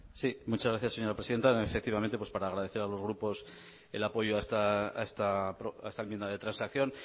sí muchas gracias señora presidenta efectivamente pues para agradecer a los grupos el apoyo a esta enmienda de transacción